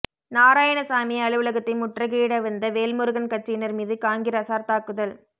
நாராயணசாமி அலுவலகத்தை முற்றுகையிட வந்த வேல்முருகன் கட்சியினர் மீது காங்கிரஸார் தாக்குதல்